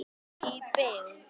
Í byggð